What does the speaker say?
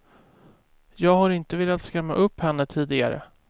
Jag har inte velat skrämma upp henne tidigare.